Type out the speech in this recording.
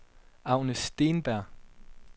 Agnes Steenberg